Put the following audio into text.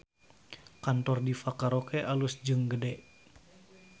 Kantor Diva Karaoke alus jeung gede